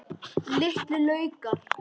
Litlu laukar.